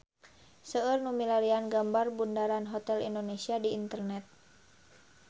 Seueur nu milarian gambar Bundaran Hotel Indonesia di internet